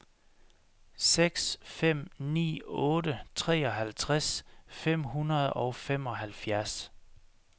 seks fem ni otte treoghalvtreds fem hundrede og femoghalvfjerds